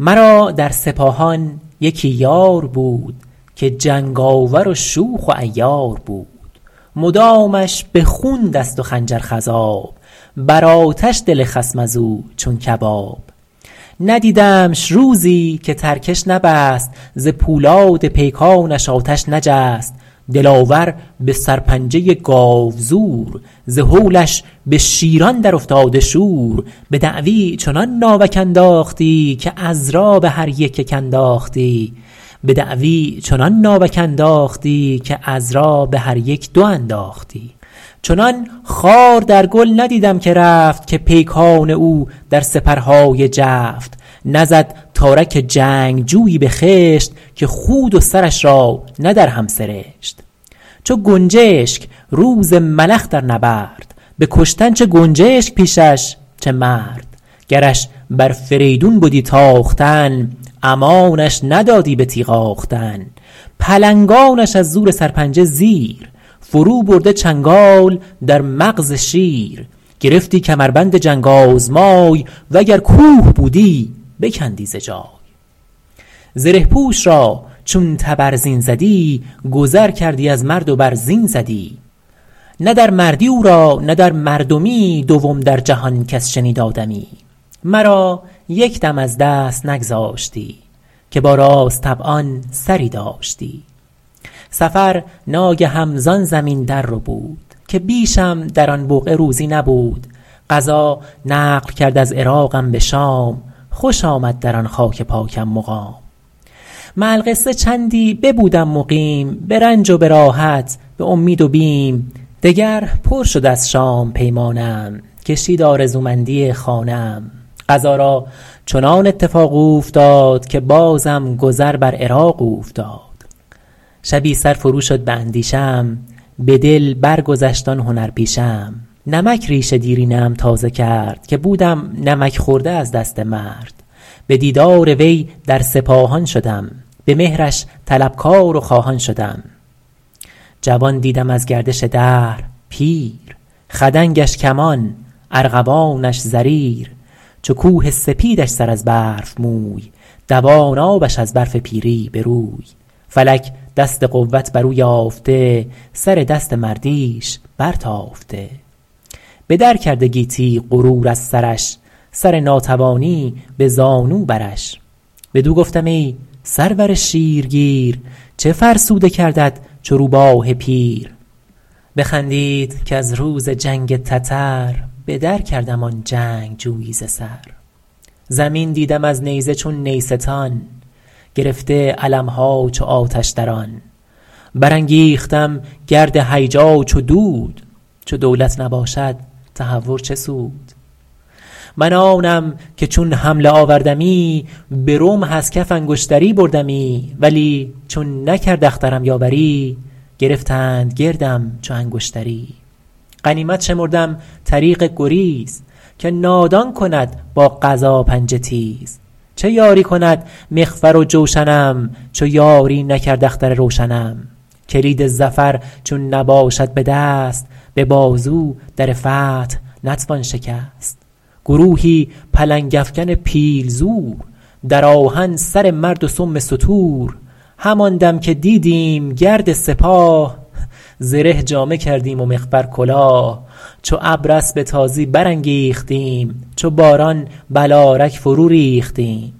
مرا در سپاهان یکی یار بود که جنگاور و شوخ و عیار بود مدامش به خون دست و خنجر خضاب بر آتش دل خصم از او چون کباب ندیدمش روزی که ترکش نبست ز پولاد پیکانش آتش نجست دلاور به سرپنجه گاوزور ز هولش به شیران در افتاده شور به دعوی چنان ناوک انداختی که عذرا به هر یک یک انداختی چنان خار در گل ندیدم که رفت که پیکان او در سپرهای جفت نزد تارک جنگجویی به خشت که خود و سرش را نه در هم سرشت چو گنجشک روز ملخ در نبرد به کشتن چه گنجشک پیشش چه مرد گرش بر فریدون بدی تاختن امانش ندادی به تیغ آختن پلنگانش از زور سرپنجه زیر فرو برده چنگال در مغز شیر گرفتی کمربند جنگ آزمای وگر کوه بودی بکندی ز جای زره پوش را چون تبرزین زدی گذر کردی از مرد و بر زین زدی نه در مردی او را نه در مردمی دوم در جهان کس شنید آدمی مرا یک دم از دست نگذاشتی که با راست طبعان سری داشتی سفر ناگهم زان زمین در ربود که بیشم در آن بقعه روزی نبود قضا نقل کرد از عراقم به شام خوش آمد در آن خاک پاکم مقام مع القصه چندی ببودم مقیم به رنج و به راحت به امید و بیم دگر پر شد از شام پیمانه ام کشید آرزومندی خانه ام قضا را چنان اتفاق اوفتاد که بازم گذر بر عراق اوفتاد شبی سر فرو شد به اندیشه ام به دل برگذشت آن هنر پیشه ام نمک ریش دیرینه ام تازه کرد که بودم نمک خورده از دست مرد به دیدار وی در سپاهان شدم به مهرش طلبکار و خواهان شدم جوان دیدم از گردش دهر پیر خدنگش کمان ارغوانش زریر چو کوه سپیدش سر از برف موی دوان آبش از برف پیری به روی فلک دست قوت بر او یافته سر دست مردیش بر تافته به در کرده گیتی غرور از سرش سر ناتوانی به زانو برش بدو گفتم ای سرور شیر گیر چه فرسوده کردت چو روباه پیر بخندید کز روز جنگ تتر بدر کردم آن جنگجویی ز سر زمین دیدم از نیزه چو نیستان گرفته علم ها چو آتش در آن بر انگیختم گرد هیجا چو دود چو دولت نباشد تهور چه سود من آنم که چون حمله آوردمی به رمح از کف انگشتری بردمی ولی چون نکرد اخترم یاوری گرفتند گردم چو انگشتری غنیمت شمردم طریق گریز که نادان کند با قضا پنجه تیز چه یاری کند مغفر و جوشنم چو یاری نکرد اختر روشنم کلید ظفر چون نباشد به دست به بازو در فتح نتوان شکست گروهی پلنگ افکن پیل زور در آهن سر مرد و سم ستور همان دم که دیدیم گرد سپاه زره جامه کردیم و مغفر کلاه چو ابر اسب تازی برانگیختیم چو باران بلارک فرو ریختیم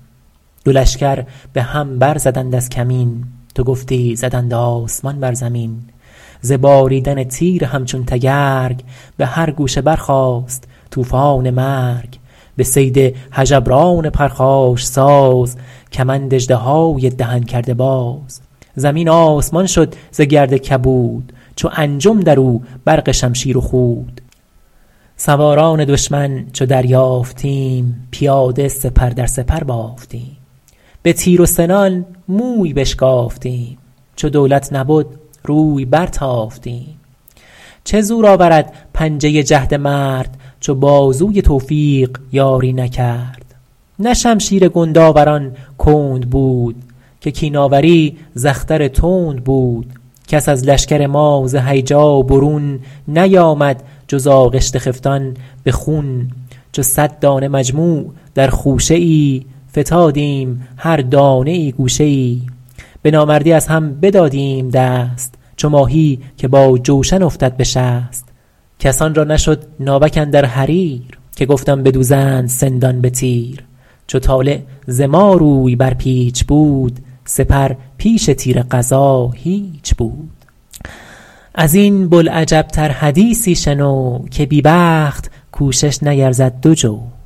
دو لشکر به هم بر زدند از کمین تو گفتی زدند آسمان بر زمین ز باریدن تیر همچو تگرگ به هر گوشه برخاست طوفان مرگ به صید هژبران پرخاش ساز کمند اژدهای دهن کرده باز زمین آسمان شد ز گرد کبود چو انجم در او برق شمشیر و خود سواران دشمن چو دریافتیم پیاده سپر در سپر بافتیم به تیر و سنان موی بشکافتیم چو دولت نبد روی بر تافتیم چه زور آورد پنجه جهد مرد چو بازوی توفیق یاری نکرد نه شمشیر گندآوران کند بود که کین آوری ز اختر تند بود کس از لشکر ما ز هیجا برون نیامد جز آغشته خفتان به خون چو صد دانه مجموع در خوشه ای فتادیم هر دانه ای گوشه ای به نامردی از هم بدادیم دست چو ماهی که با جوشن افتد به شست کسان را نشد ناوک اندر حریر که گفتم بدوزند سندان به تیر چو طالع ز ما روی بر پیچ بود سپر پیش تیر قضا هیچ بود از این بوالعجب تر حدیثی شنو که بی بخت کوشش نیرزد دو جو